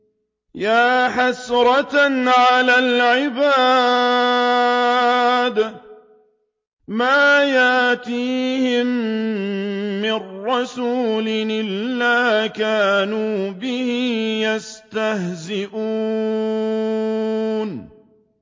يَا حَسْرَةً عَلَى الْعِبَادِ ۚ مَا يَأْتِيهِم مِّن رَّسُولٍ إِلَّا كَانُوا بِهِ يَسْتَهْزِئُونَ